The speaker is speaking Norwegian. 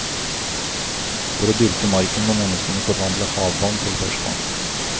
For å dyrke marken må menneskene forvandle havvann til ferskvann.